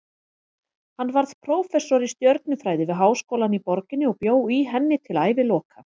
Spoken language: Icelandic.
Hann varð prófessor í stjörnufræði við háskólann í borginni og bjó í henni til æviloka.